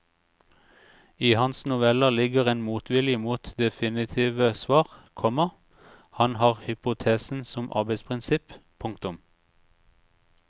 I hans noveller ligger en motvilje mot definitive svar, komma han har hypotesen som arbeidsprinsipp. punktum